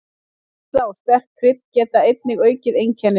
Sykurneysla og sterk krydd geta einnig aukið einkennin.